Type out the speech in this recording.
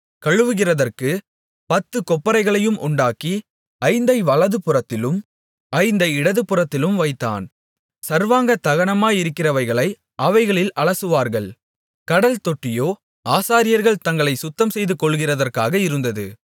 கழுவுகிறதற்குப் பத்துக் கொப்பரைகளையும் உண்டாக்கி ஐந்தை வலதுபுறத்திலும் ஐந்தை இடதுபுறத்திலும் வைத்தான் சர்வாங்க தகனமாகிறவைகளை அவைகளில் அலசுவார்கள் கடல்தொட்டியோ ஆசாரியர்கள் தங்களைச் சுத்தம்செய்துகொள்ளுகிறதற்காக இருந்தது